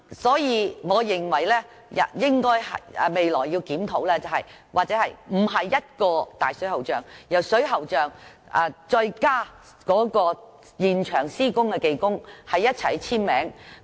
所以，我認為，當局未來應考慮不單是水喉匠簽署並負責，而是再加上在現場施工的技工一同簽署。